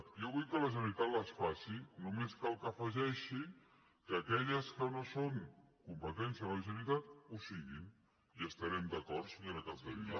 jo vull que la generalitat les faci només cal que afegeixi que aquelles que no són competència de la generalitat ho siguin i estarem d’acord senyora capdevila